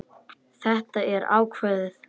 Þetta er ákveðið.